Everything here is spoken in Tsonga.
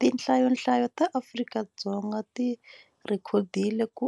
Tinhlayonhlayo ta Afrika-Dzonga ti rhekodile ku